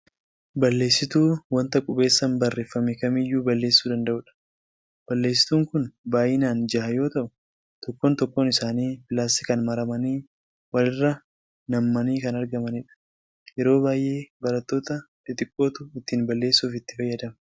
Balleessituu wanta qubeessaan barreeffame kamiiyyuu balleessuu danda'udha. Balleessituun kun baay'inaan jaha yoo ta'u tokkoon tokkoo isaanii pilaastikaan maramanii wal irra nam'anii kan argamanidha. Yeroo baay'ee baraattoota xixiqqootu ittiin balleessuuf itti fayyadama.